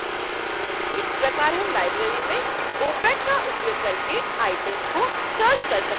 इस प्रकार हम लाइब्रेरी में opac का उपयोग करके आइटम्स को सर्च कर सकते हैं